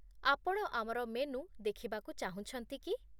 ଆପଣ ଆମର ମେନୁ ଦେଖିବାକୁ ଚାହୁଁଛନ୍ତି କି?